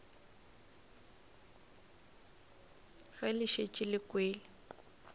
ge le šetše le kwele